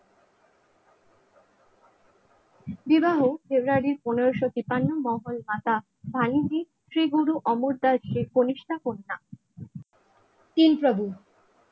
বিবাহ ফেব্রুয়ারির পনেরোশো তিপ্পান্ন মঙ্গল পাতা বাণিজ্যিক শ্রীগুরু অমর দাসের কনিষ্ঠা কন্যা প্রভু